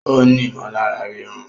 Ó ní ìmọ̀lára ríru